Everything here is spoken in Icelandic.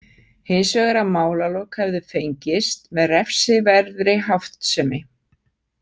Hins vegar að málalok hefðu fengist með refsiverðri háttsemi.